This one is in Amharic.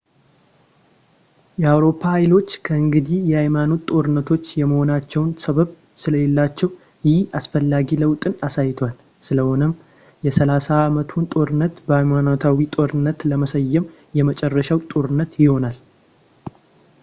የአውሮፓ ኃይሎች ከእንግዲህ የሃይማኖት ጦርነቶች የመሆናቸው ሰበብ ስለሌላቸው ይህ አስፈላጊ ለውጥን አሳይቷል ስለሆነም የሰላሳው ዓመቱን ጦርነት በሃይማኖታዊ ጦርነት ለመሰየም የመጨረሻው ጦርነት ይሆናል